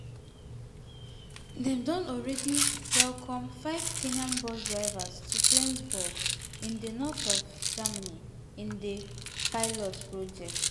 dem don already welcome five kenyan bus drivers to flensburg in di north of germany in di pilot project.